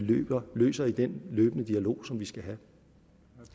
løser i den løbende dialog som vi skal have